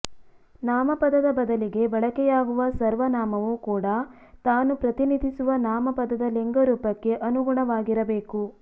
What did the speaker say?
ನಾಮಪದದ ಬದಲಿಗೆ ಬಳಕೆಯಾಗುವ ಸರ್ವನಾಮವೂ ಕೂಡ ತಾನು ಪ್ರತಿನಿಧಿಸುವ ನಾಮಪದದ ಲಿಂಗರೂಪಕ್ಕೆ ಅನುಗುಣವಾಗಿರಬೇಕು